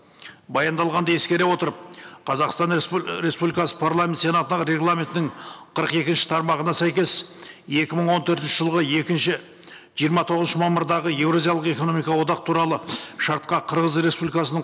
баяндалғанды ескере отырып қазақстан республикасы парламент сенатына регламентінің қырық екінші тармағына сәйкес екі мың он төртінші жылғы екінші жиырма тоғызыншы мамырдағы еуразиялық экономикалық одақ туралы шартқа қырғыз республикасының